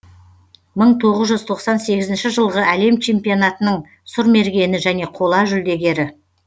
мың тоғыз жүз тоқсан сегізінші жылғы әлем чемпионатының сұрмергені және қола жүлдегері